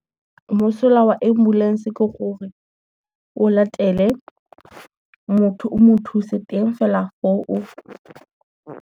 Mosola wa ambulance ke gore, o latele motho o mo thuse teng fela .